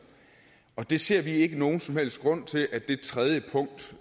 vi ser ikke nogen som helst grund til at det tredje punkt